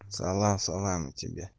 салам салам и тебе